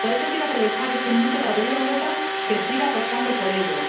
Por eso, quiero aprovechar este minuto para pedir a Europa que siga apostando por ello.